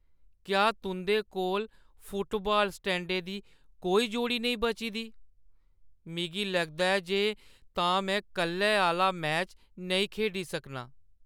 क्या तुंʼदे कोल फुटबाल स्टडें दी कोई जोड़ी नेईं बची दी ? मिगी लगदा ऐ जे तां में कल्लै आह्‌ला मैच नेईं खेढी सकना।